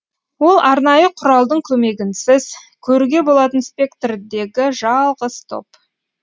ол арнайы құралдың көмегінсіз көруге болатын спектрдегі жалғыз топ